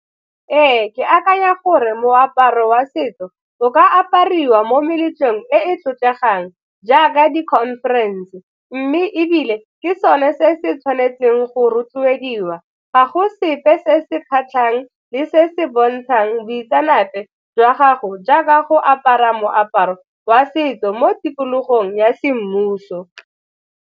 Ee, ke akanya gore moaparo wa setso o ka apariwa mo meletlong le e e tlotlegang jaaka di-conference mme ebile ke sone se se tshwanetseng go rotloediwa, ga go sepe se se kgatlhang le se se bontshang boitseanape jwa gago jaaka go apara moaparo wa setso mo tikologong ya semmuso.